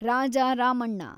Raja Ramanna